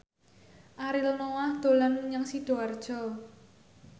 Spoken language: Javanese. Ariel Noah dolan menyang Sidoarjo